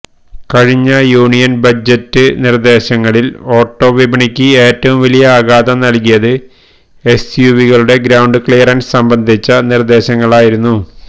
കഴിഞ്ഞ union budget നിര്ദ്ദേശങ്ങളില് ഓട്ടോവിപണിക്ക് ഏറ്റവും വലിയ ആഘാതം നല്കിയത് എസ്യുവികളുടെ ഗ്രൌണ്ട് ക്ലിയറന്സ് സംബന്ധിച്ച നിര്ദ്ദേശങ്ങളായിരുന്നു